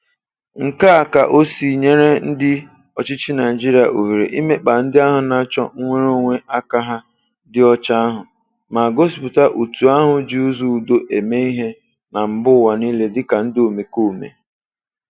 Nke a ka ọ sị nyere ndị ọchịchị Naịjirịa ohere imekpa ndị na-achọ nnwereonwe aka ha dị ọcha ahụ, ma gosipụta òtù ahụ ji ụzọ udo eme ihe na mbaụwa niile dịka ndị omekome.